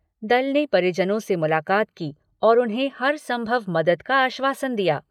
दल ने परिजनों से मुलाकात की और उन्हें हरसंभव मदद का आश्वासन दिया।